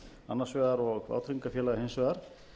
annars vegar og vátryggingafélaga hins vegar